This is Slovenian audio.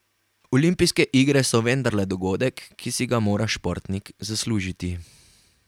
Olimpijske igre so vendarle dogodek, ki si ga mora športnik zaslužiti.